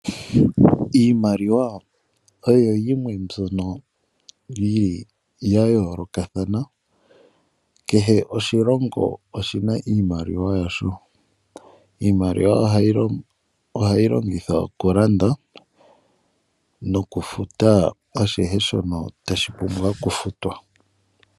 Iimaliwa oyo yimwe mbyono yili ya yoolokathana. Kehe oshilongo oshina iimaliwa yasho. Iimaliwa ohayi longithwa okulanda nokufuta shono tashi pumbwa okufutwa.